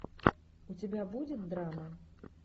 у тебя будет драма